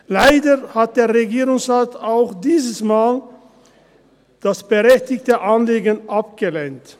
Leider hat der Regierungsrat das berechtigte Anliegen auch dieses Mal abgelehnt.